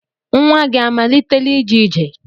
Nwa gị amalitela ije ije?